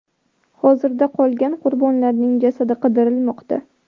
Hozirda qolgan qurbonlarning jasadi qidirilmoqda.